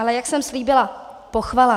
Ale jak jsem slíbila, pochvala.